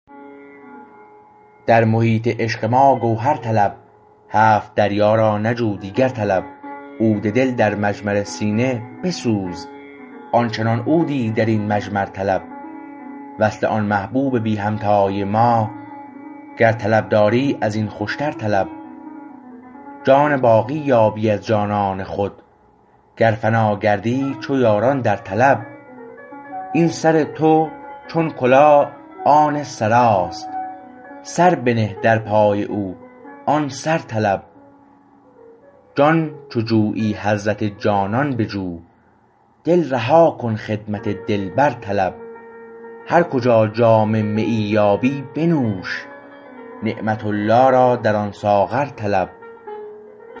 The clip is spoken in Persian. در محیط عشق ما گوهر طلب هفت دریا را نجو دیگر طلب عود دل در مجمر سینه بسوز آنچنان عودی در این مجمر طلب وصل آن محبوب بی همتای ما گر طلب داری از این خوشتر طلب جان باقی یابی از جانان خود گر فنا گردی چو یاران در طلب این سر تو چون کلاه آن سراست سر بنه در پای او آن سر طلب جان چو جویی حضرت جانان بجو دل رها کن خدمت دلبر طلب هر کجا جام مییی یابی بنوش نعمت الله را در آن ساغر طلب